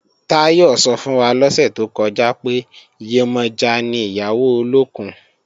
Táyọ̀ sọ fún wa lọ́sẹ̀ tó kọjá pé, Yemọja ni ìyàwó olókùn